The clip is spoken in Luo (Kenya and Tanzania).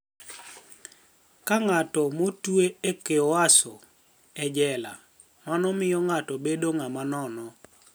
Kaka nig'at motwe e kyohwaso [e jela], mano miyo nig'ato bedo nig'ama nono'